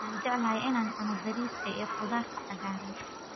Waxaan jeclahay in aan cuno bariiska iyo khudaarta cagaaran.